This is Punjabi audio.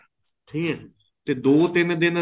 ਠੀਕ ਏ ਤੇ ਦੋ ਤਿੰਨ ਦਿਨ